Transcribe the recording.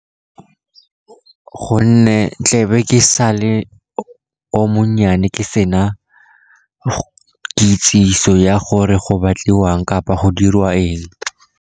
Gonne tlebe ke sale o monnyane, ke sena kitsiso ya gore go batliwang kapa go dirwa eng.